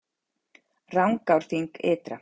Rangárþing ytra